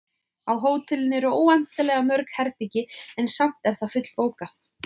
Á hótelinu eru óendanlega mörg herbergi, en samt er það fullbókað.